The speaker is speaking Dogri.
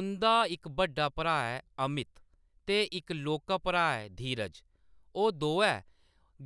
उंʼदा इक बड्डा भ्राऽ ऐ अमित ते इक लौह्‌‌‌का भ्राऽ ऐ धीरज, ओह्‌‌ दोऐ